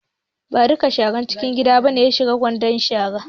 Ba duk sharar gida ba ne ya shiga cikin kwandon shara.